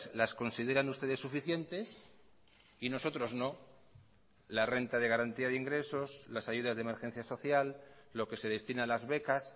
las consideran ustedes suficientes y nosotros no la renta de garantía de ingresos las ayudas de emergencia social lo que se destina a las becas